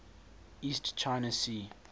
east china sea